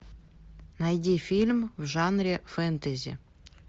найди фильм в жанре фэнтези